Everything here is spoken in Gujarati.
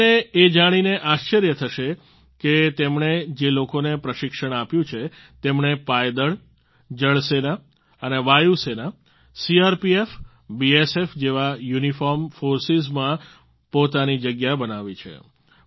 તમને એ જાણીને આશ્ચર્ય થશે કે તેમણે જે લોકોને પ્રશિક્ષણ આપ્યું છે તેમણે પાયદળ જળ સેના અને વાયુ સેના સીઆરપીએફ બીએસએફ જેવા યુનિફોર્મ ફોર્સિસમાં પોતાની જગ્યા બનાવી છે